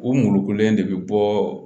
U mulukulen de bɛ bɔ